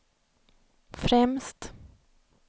främst